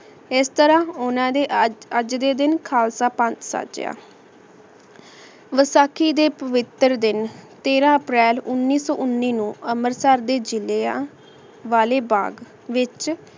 ਏਸ ਤਰਹ ਓਹਨਾਂ ਨੇ ਆਜ ਦੇ ਦਿਨ ਖਾਲਸਾ ਪੰਜ ਸਾਜਯਾ ਵਸਾਖੀ ਦੇ ਪਾਵਾਤੀਰ ਦਿਨ ਤੀਰ ਅਪ੍ਰੈਲ ਉਨੀ ਸੋ ਉਨੀ ਨੂ ਅੰਮ੍ਰਿਤਸਰ ਦੇ ਜਾਲਿਆ ਵਾਲੇ ਬਾਘ ਵਿਚ